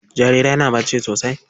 Jarirai na bacci sosai.